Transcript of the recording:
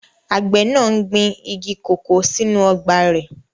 Àgbẹ̀ náà n gbin igi kòkó sínú ọgbà rẹ̀